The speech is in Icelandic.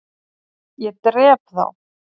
ÉG DREP ÞÁ!